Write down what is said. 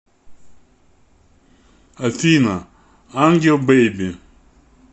афина ангел бэйби